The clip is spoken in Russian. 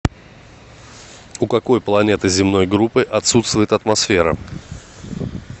у какой планеты земной группы отсутствует атмосфера